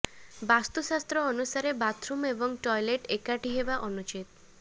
ବାସ୍ତୁଶାସ୍ତ୍ର ଅନୁସାରେ ବାଥରୁମ୍ ଏବଂ ଟୟେଲେଟ୍ ଏକାଠି ହେବା ଅନୁଚିତ୍